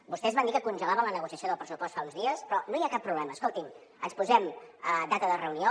vostès van dir que congelaven la negociació del pressupost fa uns dies però no hi ha cap problema escolti’m ens posem data de reunió